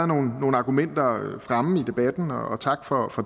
nogle argumenter fremme i debatten og tak for